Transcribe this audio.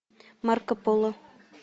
марко поло